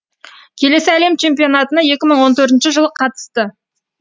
келесі әлем чемпионатына екі мың он төртінші жылы қатысты